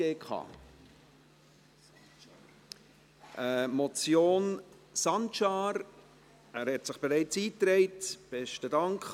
Es geht um die Motion Sancar – er hat sich bereits in die Rednerliste eingetragen: